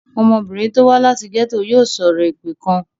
Ọmọbìnrin tó wá láti gẹ́tò yòò sọ̀rọ̀ èpè kan.